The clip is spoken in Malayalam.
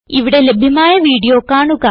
ഇവിടെ ലഭ്യമായ വീഡിയോ കാണുക